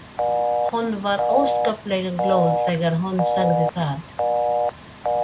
Hún var óskaplega glöð þegar hún sagði það.